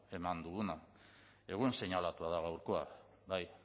eman duguna egun seinalatua da gaurkoa bai